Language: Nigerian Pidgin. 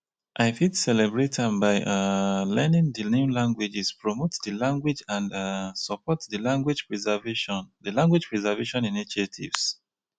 i fit celebrate am by um learning di new languages promote di language and um support di language preservation di language preservation initiatives.